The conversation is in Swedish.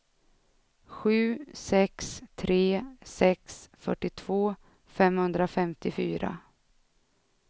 sju sex tre sex fyrtiotvå femhundrafemtiofyra